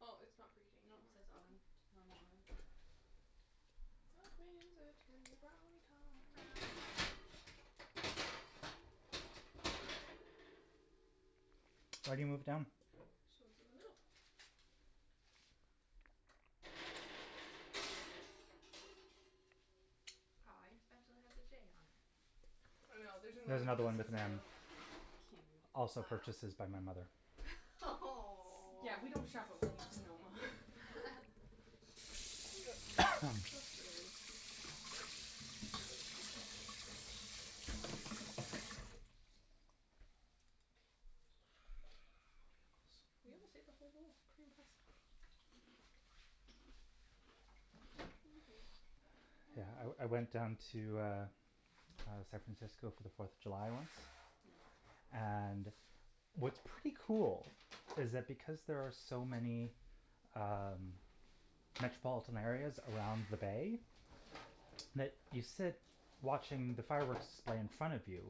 Oh, it's not preheating No, it anymore, says oven, okay. normal oven. That means it can be brownie Brownie time. time. I already moved it down. So it's in the middle. Aw, your spatula has a J on it. I know, there's There's another one another that one says with an M. M. Cute. Also purchases by my mother. S- yeah, we don't shop at Williams Sonoma. Just daily. They're really cute, though. Ah, Bugles. We almost ate the whole bowl. Pretty impressive. Mm. Yeah, I I went down to, uh, San Francisco for the Fourth of July once. Mm. And what's pretty cool is that because there are so many um metropolitan areas around the bay, that you sit watching the fireworks display in front of you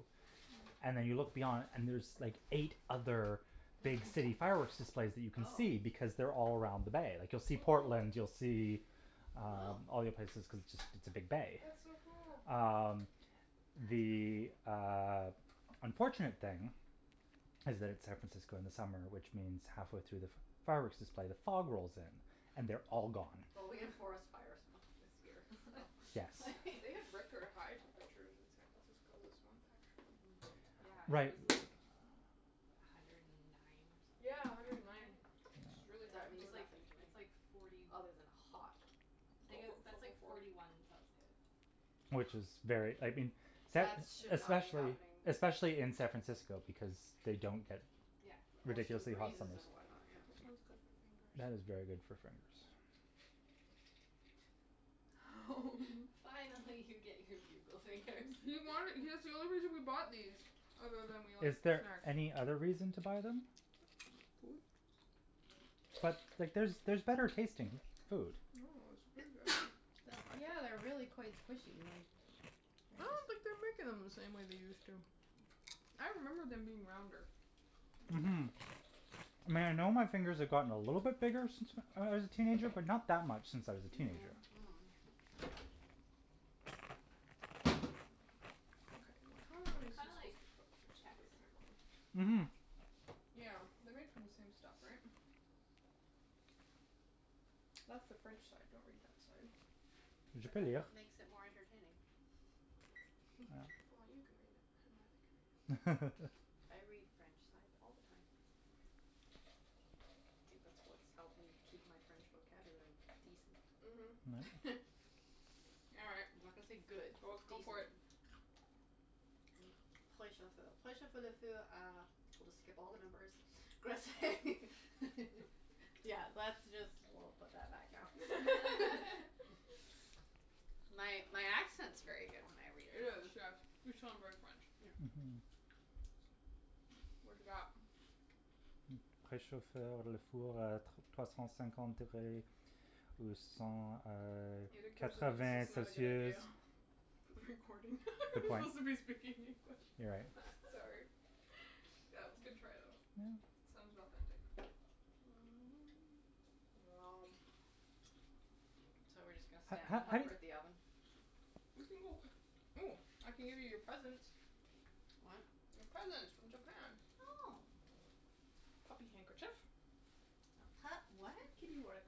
And Mm. then you look beyond and there's like eight other big city fireworks displays that you can Oh. see because they're all around the bay. Like, you'll see Portland, you'll see um Wow. all the other places cuz it's just it's a big bay. That's so cool. Uh, That's the, cool. uh, unfortunate thing is that it's San Francisco in the summer, which means halfway through the fireworks display, the fog rolls in and they're all gone. Well, we have forest fires month this year, so Yes. They have record high temperatures in San Francisco this month, actually. Mm. Yeah, it Right. was like a hundred and nine or something, Yeah, a like, hundred and nine, Fahrenheit. which is really high That Which Yeah. for. means is like, nothing to it's me. like forty Other than hot Tha- that's like forty. forty one Celsius. Which is very, I mean, San That is should not be Especially, happening. especially in San Francisco because they don't get Yeah. Ocean ridiculously hot breezes summers. and whatnot, yeah. This one's good for fingers. That is very good for fingers. Fine, I'll let you get your Bugle fingers. He wanted. That's the only reason we bought these, other than we Is like snacks. there any other reason to buy them? But, like, there's there's better tasting food. No, it's really good. Yeah, they're really quite squishy, like I don't think they're making them the same way they used to. I remember them being rounder. Mhm. Mhm. I know my fingers have gotten a little bit bigger since I was a teenager, but not that much since I was a teenager. Mm. Mm. Okay, how Mm, long they are are these kinda like supposed to cook? I should put a timer on. Mhm. Yeah, they're made from the same stuff, right? That's the French side, don't read that side. It just makes it more entertaining. Well, you can read it or Matthew can read it. I read French sides all the time. I think that's what's helped me keep my French vocabulary decent. Mhm. All right, I'm not gonna say good, well, but go for decent. it. We'll just skip all the numbers. Yeah, that's just, woah, put that back now. My my accent's very good when I read It is, French. yes, you sound very French. Yeah. Mhm. What have you got? It occurs to me this is not a good idea. For the recording. We're supposed to be speaking English. You're right. S- sorry That was a good try, though. Yeah. Sounded authentic. Wow. So, we're just gonna and hover at the oven? We can go. Oh, I can give you your presents. What? Your presents from Japan. Oh. Puppy handkerchief. A pup what? A kitty one I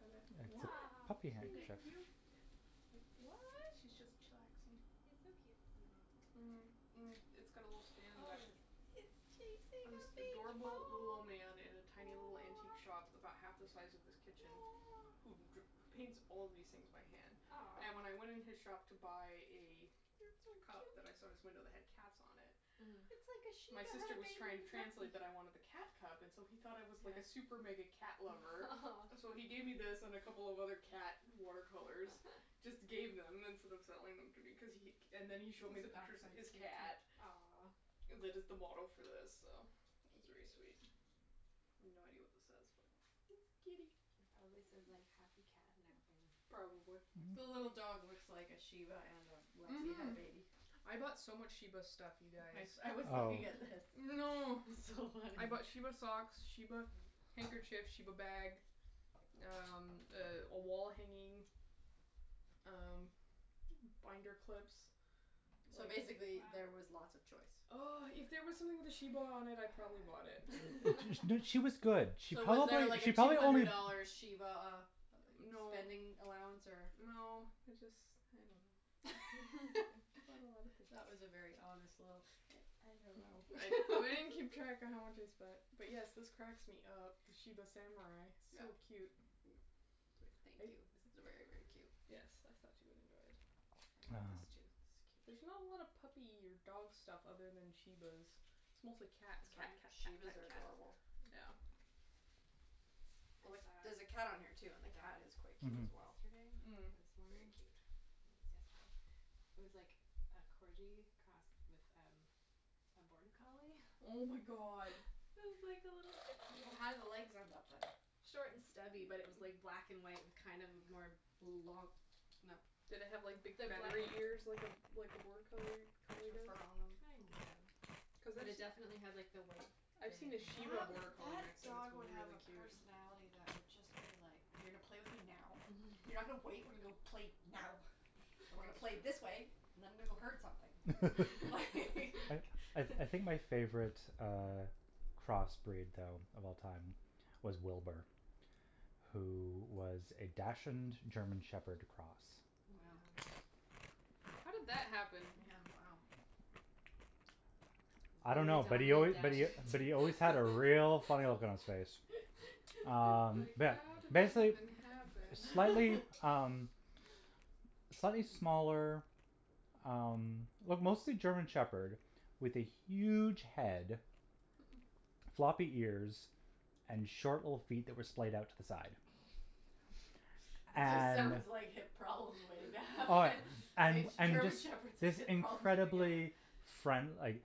It's a What? Aw, puppy cute. handkerchief. cute? What? She's just chillaxing. He's so cute sitting like Mhm. that. Mm. It's got a little Oh, stand in the back. it is. It's chasing a This big ball, adorable little old oh. man in a tiny little antique shop about half the size of this kitchen who dr- paints all these things by hand. And when Aw. I went in his shop to buy a You're so cup that I saw in his cute. window that had cats on it. Mhm. It's like a My shiba had sister a was baby trying to with Lexie. translate that I wanted the cat cup and so he thought I was like a super mega Yeah. cat lover. So he gave me this and a couple of other cat water colors, just gave them instead of selling them to be cuz he. And then he showed me the This back pictures of side's his cute, too. cat. Aw. That is the model for this, so it was very sweet. I have no idea what this says, but It's it's a kitty kitty. It probably says, like, happy cat napping. Or Probably. The something. little dog Mhm. looks like a shiba and a Lexie had a Mhm. baby. I bought so much shiba stuff, you guys. I I was Oh. looking at this. Oh no. It's so funny. I bought shiba socks, shiba handkerchiefs, shiba bag, um, a wall hanging, um, binder clips. So basically there was Wow. lots of choice. Oh, if there was something with a shiba on it, I probably bought it. She was good. She So, was probably, there, like, a she two probably hundred only dollar shiba uh No, spending allowance or? no, it just, I don't know. It's got a lotta pics. That was a very honest little, I I don't I I know. didn't keep track of how much I spent. But, yes, this cracks me up, the shiba samurai, Yeah. No. so cute. Thank you. This is very, very cute. Yes, I thought you would enjoy it. I Uh. like this, too. This is There's not cute. a lot of puppy or dog stuff other than shibas. It's mostly cats. Cat, cat, cat, cat, shibas are cat. adorable. Yeah. Like, I there's a cat on here, saw too, and the cat a is quite cute Mhm. as dog well. yesterday. Or Mm. this Very morning. cute. Maybe it was yesterday. It was like a corgi crossed with a border collie. Oh, my god. It was like a little How did the legs end up, then? Short and stubby, but it was like black and white kind of a more Long, no. Did it have, like, big feathery ears like a like a border collie collie Extra does? fur on them. Kind of, Cuz but I've it definitely had s- like the white I've seen in a it and shiba That border wou- collie that mix and it's dog would have really a cute. personality that would just be like, "You're gonna play with me now, you're not gonna wait, we're gonna play now and we're gonna play That's this way true. and I'm gonna go herd something, like" I I I think my favorite uh crossbreed though of all time was Wilbur, who was a dachshund German shepherd cross. Oh my Wow. gosh. How did that happen? Yeah, wow. I don't A know, but real he al- dine but he and but dash. he always had a real funny look on his face. Um, Like, yeah, how did that basic- even , happen? slightly, um, slightly smaller um well mostly German Shepherd with a huge head, floppy ears and short little feet that were splayed out to the side. It just And sounds like hip problems way Oh, down. and and German this Shepherds have this hip problems at the beginning. incredible friend- like,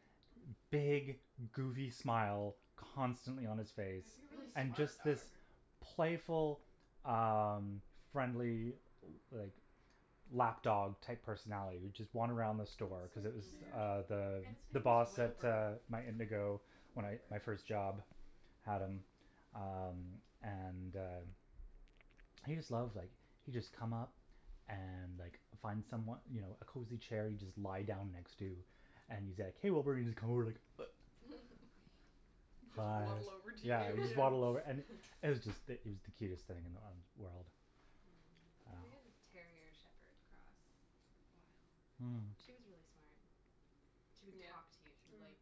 big goofy smile constantly on his It face. would be a really And smart just dog. this playful um friendly, like, lap dog type personality that would just wander around the That's so store cuz it was cute. uh Mm. the And its the name was boss at Wilbur. my Indigo. At Whatever. my first job had him um and uh he just loved like he'd just come up and like find someone, you know, a cozy chair he'd just lie down next to and he's like, hey Wilbur, and he's just come over and like He'd just waddle over to you, Yeah, just waddle over. yeah. It was just it was the cutest thing in the world. We had a Um. Mm. terrier shepherd cross for a while. Mm. She was really smart. She would Yeah. talk to you. She'd be Mhm. like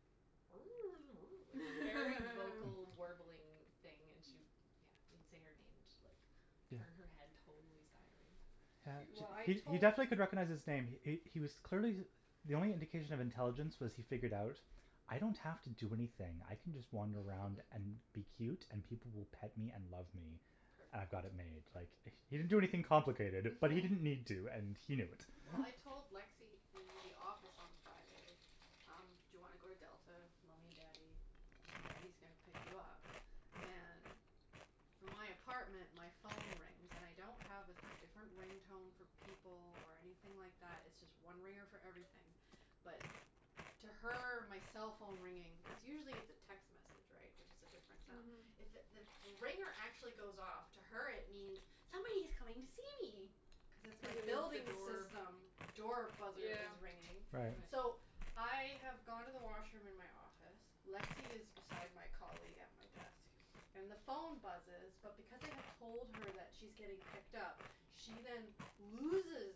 Like, very vocal warbling thing and she'd, yeah. You'd say her name and she'd like turn her head totally sideways. He- well, I He he tot- definitely Cute. could recognize his name. He he was clearly the only indication of intelligence was he figured out, "I don't have to do anything." I can just wander around and be cute and people will pet me and love me. Perfect. I've got it made. Like, Perfect. he didn't do anything complicated, but he didn't need to, and he knew it. Well, I told Lexie in the office on Friday, um, do you want to go to Delta, mommy and daddy? Daddy's gonna pick you up. And from my apartment, my phone rings. And I don't have a a different ring tone for people or anything like that, it's just one ringer for everything, but to her my cell phone ringing. Cuz usually it's a text message, right, which is a different sound. Mhm. It's if the ringer actually goes off, to her it means, "Somebody's coming to see me", cuz it's my Cuz it means the building door. system door buzzer Yeah. is ringing. Right. So, Right. I have gone to the washroom in my office, Lexie is beside my colleague at my desk and the phone buzzes, but because I have told her that she's getting picked up, she then loses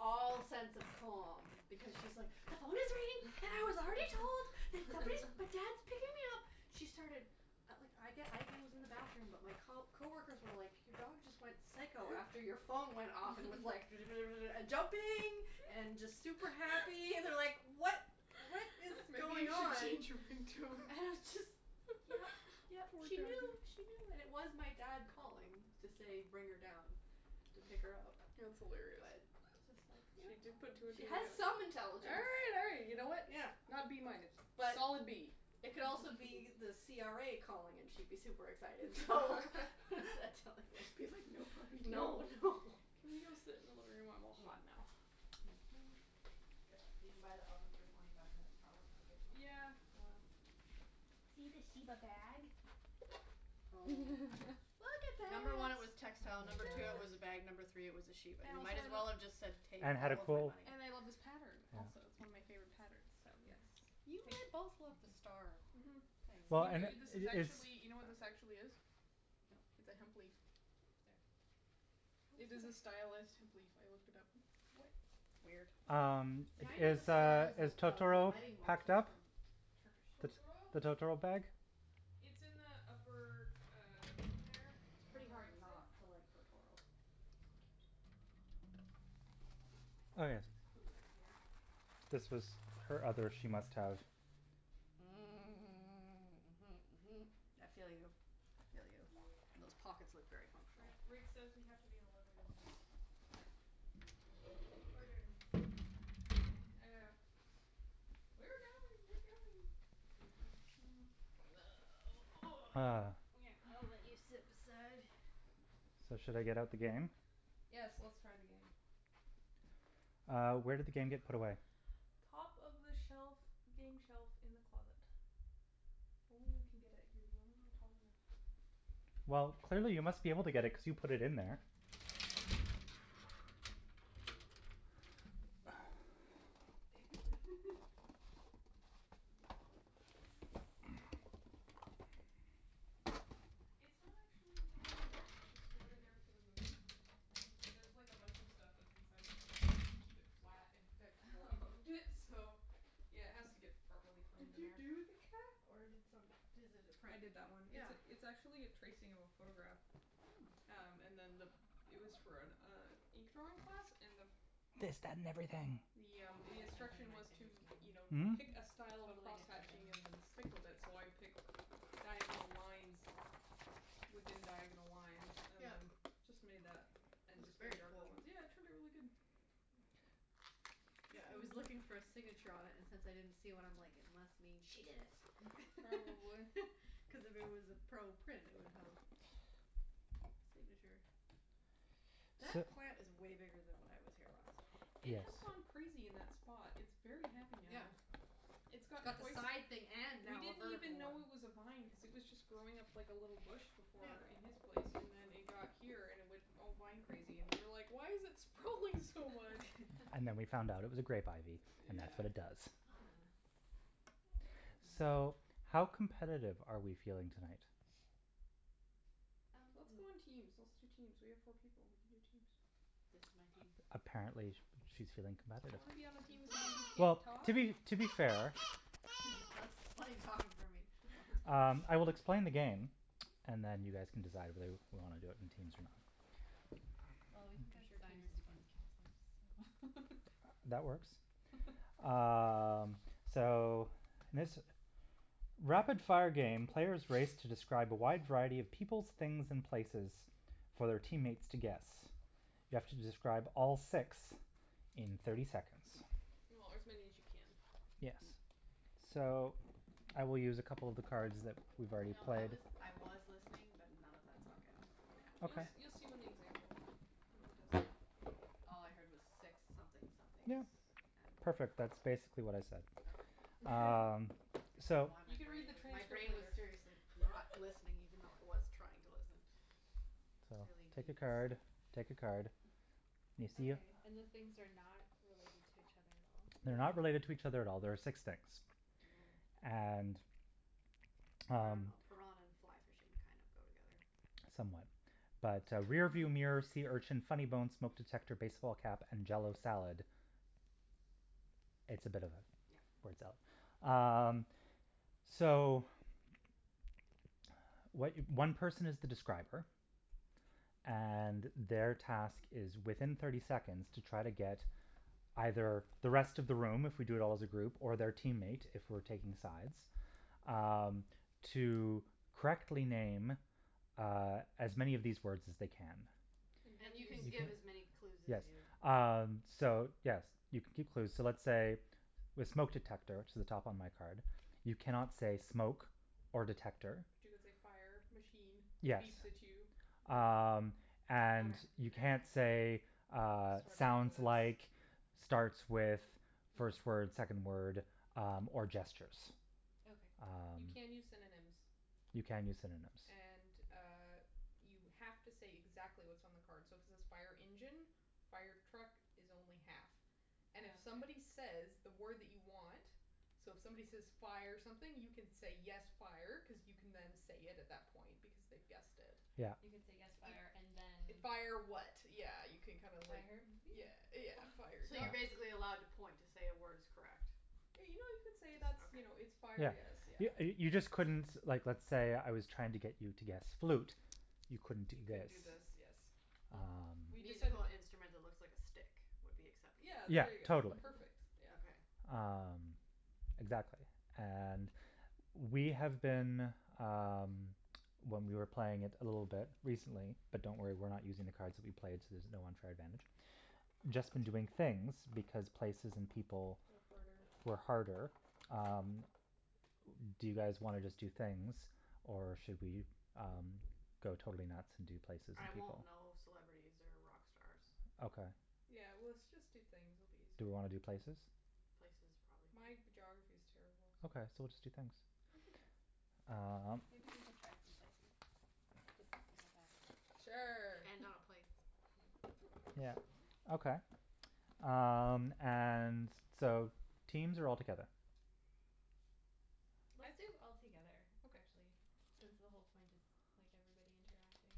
all sense of calm because she's, like, "The phone is ringing and I was already told that somebody, that dad's picking me up. She started. At like, I, again, was in the bathroom, but my co- coworkers were like your dog just went psycho after your phone went off and was like and jumping and just super happy and they're like what, what is Maybe going you should on? change your And it ringtone. was just, yeah, yeah, Poor she doggy. knew, she knew. And it was my dad calling to say bring her down to pick her up, That's hilarious. but it's just like, yeah, She just put two and two she has together. some intelligence. Hey, you know, you know what, Yeah. not B minus. But Solid B. it could also be the CRA calling and she'd be super excited, so what does that tell you? Cuz like no puppy No, no. Can we go sit in the living room? I'm all hot now. Yeah, being by the oven for twenty five minutes, probably not a good plan. Yeah, well. See the shiba bag? Oh. Look at Number one, it was that. textile; Oh, number two it my was a god. bag; Look. number three it was a sheep. And And it also might I as love well have just said take And had a all of my pull money. And I love this pattern also, it's Yeah. one of my Mhm. favorite patterns, so yes. Mhm. You had both loved the Take. star Mhm. things. Well, You and, kn- this is it's. actually, you know what this actually is? It's No. a hemp leaf. No. Oops, sorry. How It is it is a a h- stylus hemp leaf. I looked it up. We- weird. Um, See, I know the is, star uh, as a is as a Totoro wedding packed motif up? from Turkish. The Totoro? the Totoro bag? It's in the upper, uh, open there It's and on pretty the right hard side. not to like Totoro. It's so cute. I'm gonna take my Oh, sweater; yes. it's cool in here. This was her other she must have. Mm. Mhm. mhm, mhm. I feel you, I feel you. Those pockets look very Ri- functional. Rick says we have to be in the living room now, so. Okay. Orders from on high. I know. We're going, we're going. Ah. I'll let you sit beside. So, should I get out the game? Yes, let's try the game. Uh, where did the game get put away? Top of the shelf, game shelf in the closet. Only you can get it. You're the only one tall enough. Well, clearly you must be able to get it cuz you put it in there. Touche. Your picture is falling out of its frame. It's not actually framed in there. It was just stored in there for the move. Oh. There's like a bunch of stuff that's inside of that frame just to keep it flat and protected while we Oh moved in, so yeah, it has to get properly framed Did in you there. do the cat or did some- does it a I print? did that one. It's Yeah. it's actually a tracing of a photograph. Hmm. Um, and then the it was for an uh ink drawing class and the This, that and everything. Yeah, Totally the different than instruction was to, game. you know, Hmm? pick a style of Totally different than crosshatching and then stick with it, so I picked diagonal lines within diagonal lines and Yeah. then just made that and It's just made very darker cool. ones. Yeah, it turned out really good. Mm. Yeah, I was looking for a signature on it and since I didn't see one, I'm like, it must mean she did it Probably. cuz if it was a pro print, it would have a signature. So. That plant is way bigger than when I was here last. It Yes. has gone crazy in that spot. It's very happy Yeah. now. It's gotten Got the quite side thing and We now a didn't even vertical one. know it was a vine cuz it was just growing up like a little bush before in Yeah. his place and then it got here and it went all vine crazy and we were like, why is it sprawling so much? And then we found out it was a grape ivy and that's Yeah. what it does. Ah. Oh. So, how competitive are we feeling tonight? Um. Let's go in teams, let's do teams. We have four people; we can do teams. This is my team. A- apparently she's feeling You competitive. wanna be on the team with somebody who can't Well, talk? to be, to be fair That's talking for me. No, that's Um, fine. I will explain the game and then you guys can decide whether we want to do it in teams or not. Well, we can I'm go sure teams designers is fine. against counselors, so That works. Um, so this rapid-fire game, players race to describe a wide variety of peoples, things and places for their teammates to guess. You have to describe all six in thirty seconds. Or as many as you can. Yes. So, I will use a couple of the cards that we've You already know, I played. was I was listening, but none of that sunk in, I have to You Okay. admit. you'll see when the example when he does that. All I heard was six something somethings Yeah, and. perfect, that's basically what I said. Okay. Um, I don't know so. why You my can read brain the was, my transcript brain was later. seriously not listening, even though I was trying to listen. So, Clearly take a need card, sleep. take a card. You see them? Okay, and the things are not related to each other at all? They're No. not related to each other at all; there are six things. Mhm. And, I don't um know, piranha and and fly fishing kind of go together. Somewhat. But, uh, rearview So. mirror, sea urchin, funny bone, smoke detector, baseball cap and jell-o salad, it's a bit of yeah Yeah. words up. Um, so what one person is the describer, and their task is within thirty seconds to try to get either the rest of the room if we do it all as a group or their teammate if we're taking sides Um, to correctly name uh as many of these words as they can. And you have And to you use can give as many clue Yes. as you Um, so yes, you can keep clues. So let's say with smoke detector, which is at the top on my card, you cannot say smoke or detector. But you could say fire, machine that Yes. beeps at you. Mm. Um, and Okay, you yeah can't say, yeah. uh, Starts with sounds like, this. starts with, first word, Hmm. second word, um, or gestures. Okay. Um. You can use synonyms. You can use synonyms. And, uh, you have to say exactly what's on the card, so if it says fire engine, fire truck is only half. Oh, And if okay. somebody says that word that you want, so if somebody says fire something, you can say yes, fire, cuz you can then say it at that point, because they've guessed it. Yeah. You can say yes You fire and then Fire, fire vehicle. what, yeah, you can kind of like yeah, yeah, fire. So you're basically Yeah. allowed to point to say a word is correct? Yeah, you know, you can say Just that's, okay. you know, it's fire, Yeah. yes, yeah. You you just couldn't, like let's say I was trying to get you to guess flute; you couldn't do You couldn't this. do this, yes. Hmm. We Um. decided Musical that instrument that looks like a stick would be acceptable? Yeah, Yeah, there you go. totally. Perfect, yeah. Okay. Um, exactly, and we have been, um, when we were playing it a little bit recently, but don't worry, we're not using the cards that we played, so there's no unfair advantage, just been doing things because places and people Are harder. were harder. Um, do you guys wanna just do things or should we um go totally nuts and do places I and won't people? know celebrities or rock stars. Okay. Yeah, well let's just do things, it'll be Do easier. we wanna do places? Places, probably. My geography is terrible, so. Okay, so we'll just do things. We can try some- Um. maybe we can try some places just to see how bad it is. Sure. And not a place. Mm. Yeah, okay. Um, and so teams or all together? Let's I do all together, Okay. actually, since the whole point is like everybody interacting